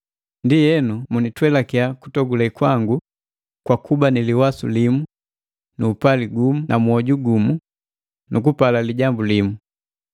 Ndienu munitwelakiya kutogule kwangu kwakuba niliwasu limu, nu upali gumu na mwoju gumu nukupala lijambu limu.